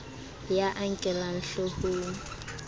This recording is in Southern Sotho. ya a a nkellang hloohong